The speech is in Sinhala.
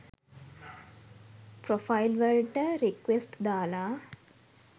ප්‍රොෆයිල් වලට රික්වෙස්ට් දාලා